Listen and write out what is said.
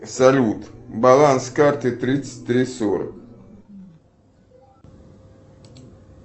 салют баланс карты тридцать три сорок